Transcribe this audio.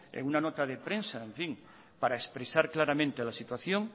una nota de prensa para expresar claramente la situación